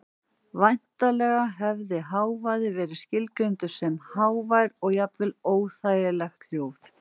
Væntanlega hefði hávaði verið skilgreindur sem hávær og jafnvel óþægileg hljóð.